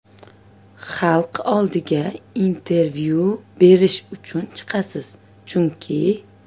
Xalq oldiga intervyu berish uchun chiqasiz chunki.